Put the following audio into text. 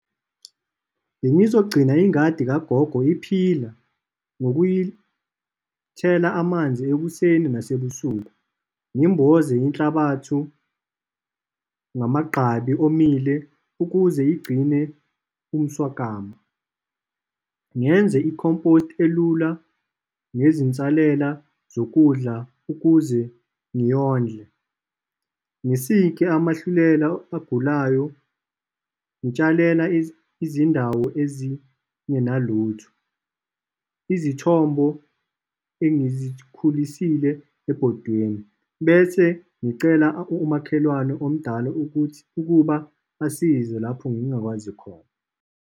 Bengizogcina ingadi kagogo iphila, ngokuyithela amanzi ekuseni nasebusuku. Ngimboze inhlabathu ngamagqabi omile, ukuze igcine umswakama. Ngenze i-compost elula ngezinsalela zokudla, ukuze ngiyondle. Ngisike amahlumela ogulayo, ngitshalela izindawo ezingenalutho izithombo engizikhulisile ebhodweni, bese ngicela umakhelwane omdala ukuthi, ukuba asize lapho ngingakwazi khona.